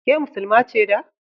Ke Muslima ce da?